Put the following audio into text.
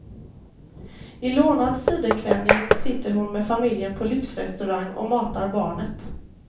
I lånad sidenklänning sitter hon med familjen på lyxrestaurang och matar barnet.